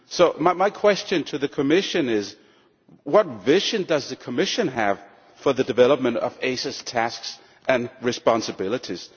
So my question to the Commission is, what vision does the Commission have for the development of ACER's tasks and responsibilities?